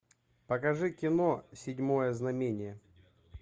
покажи кино седьмое знамение